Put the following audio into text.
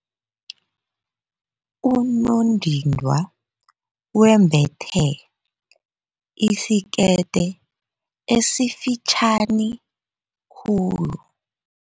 Unondindwa wembethe isikete esifitjhani khulu.